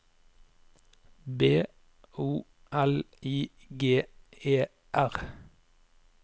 B O L I G E R